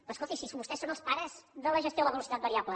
però escolti si vostès són els pares de la gestió de la velocitat variable